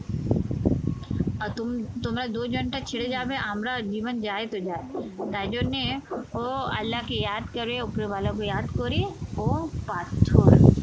তোমরা দোযানটা ছেড়ে যাবে আমরা জীবন যায় তো যায় তাই জন্যে ও আল্লাহকে করে ওপরওয়ালাকে করে ও পাথর